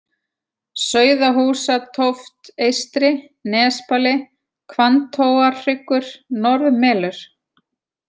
Sauðahúsatóft eystri, Nesbali, Hvanntóarhryggur, Norðmelur